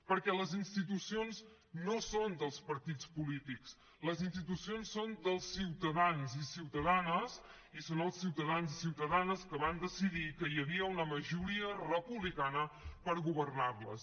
perquè les institucions no són dels partits polítics les institucions són dels ciutadans i ciutadanes i són els ciutadans i ciutadanes que van decidir que hi havia una majoria republicana per governar les